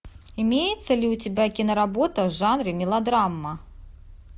имеется ли у тебя киноработа в жанре мелодрама